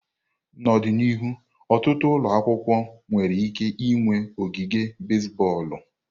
N'ọdịnihu, ọtụtụ ụlọ akwụkwọ nwere ike ịnwe ogige basiboolu.